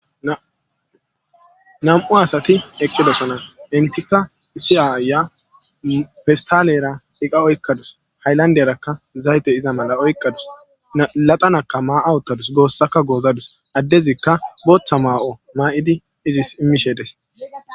nam7u asati eqqidosonan entika isiyaaya festalera iqa oykkadus hayllanderakka zayte iza mala oykkadus laxanakka maa7a uttadus goossaka goozadus addezikka booththa maa7o maa7idi izis immishedes